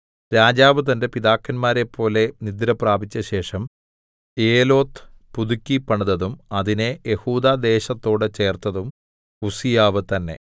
രാജാവ് തന്റെ പിതാക്കന്മാരെപ്പോലെ നിദ്രപ്രാപിച്ചശേഷം ഏലോത്ത് പുതുക്കി പണിതതും അതിനെ യെഹൂദാ ദേശത്തോട് ചേർത്തതും ഉസ്സീയാവ് തന്നെ